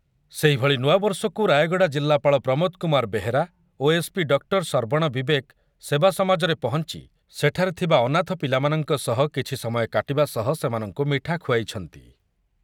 ସେହିଭଳି ନୂଆବର୍ଷକୁ ରାୟଗଡ଼ା ଜିଲ୍ଲାପାଳ ପ୍ରମୋଦ କୁମାର ବେହେରା ଓ ଏସ୍‌ପି ଡକ୍ଟର ସର୍ବଣ ବିବେକ ସେବାସମାଜରେ ପହଞ୍ଚି ସେଠାରେ ଥିବା ଅନାଥ ପିଲାମାନଙ୍କ ସହ କିଛି ସମୟ କାଟିବା ସହ ସେମାନଙ୍କୁ ମିଠା ଖୁଆଇଛନ୍ତି ।